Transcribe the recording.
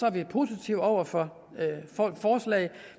er vi positive over for forslaget